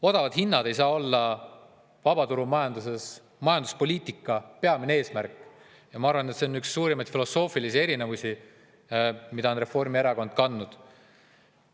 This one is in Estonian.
Odavad hinnad ei saa olla vabaturumajanduses majanduspoliitika peamine eesmärk ja ma arvan, et see on üks suurimaid filosoofilisi eriseisukohti, mida on Reformierakond kandnud.